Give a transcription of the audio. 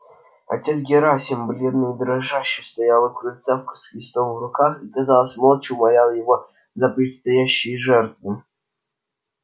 отец герасим бледный и дрожащий стоял у крыльца с крестом в руках и казалось молча умолял его за предстоящие жертвы